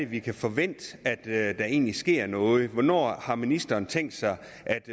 vi kan forvente at der egentlig sker noget hvornår har ministeren tænkt sig